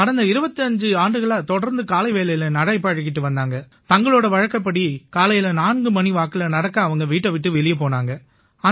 கடந்த 25 ஆண்டுகளா தொடர்ந்து காலைவேளை நடை பழகிட்டு வந்தாங்க தங்களோட வழக்கப்படி காலையில 4 மணி வாக்கில நடக்க அவங்க வீட்டை விட்டு வெளிய போனாங்க